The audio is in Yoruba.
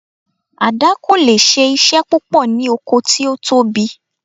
Àdá kò leè ṣe iṣẹ́ púpọ̀ ní oko tí ó tóbi